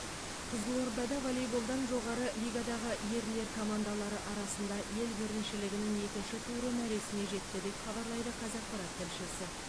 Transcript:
қызылордада волейболдан жоғарғы лигадағы ерлер командалары арасында ел біріншілігінің екінші туры мәресіне жетті деп хабарлайды қазақпарат тілшісі